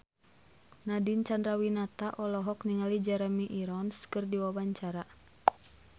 Nadine Chandrawinata olohok ningali Jeremy Irons keur diwawancara